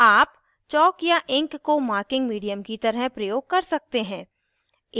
आप चॉक या इंक को मार्किंग मीडियम की तरह प्रयोग कर सकते हैं